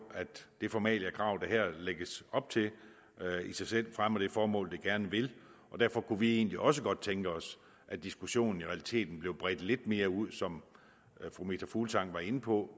at det formaliakrav der her lægges op til i sig selv fremmer det formål det gerne vil og derfor kunne vi egentlig også godt tænke os at diskussionen i realiteten blev bredt lidt mere ud som fru meta fuglsang var inde på